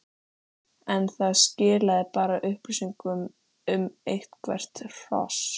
en það skilaði bara upplýsingum um eitthvert hross.